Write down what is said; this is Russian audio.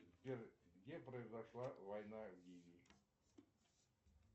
сбер где произошла война в ливии